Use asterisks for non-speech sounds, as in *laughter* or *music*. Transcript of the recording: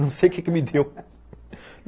Não sei *laughs* o que que me deu.